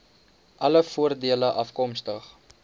alle voordele afkomstig